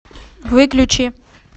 выключи